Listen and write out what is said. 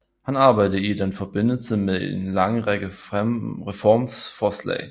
Han arbejdede i den forbindelse med en lang række reformforslag